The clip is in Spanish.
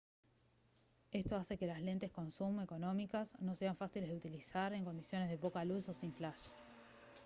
esto hace que las lentes con zoom económicas no sean fáciles de utilizar en condiciones de poca luz o sin flash